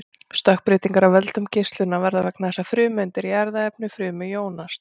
stökkbreytingar af völdum geislunar verða vegna þess að frumeindir í erfðaefni frumu jónast